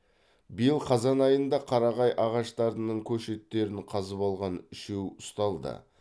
биыл қазан айында қарағай ағаштарының көшеттерін қазып алған үшеу ұсталды